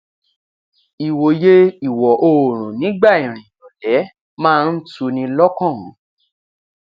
ìwòye ìwọ oòrùn nígbà ìrìn ìrọlẹ máa ń tuni lọkàn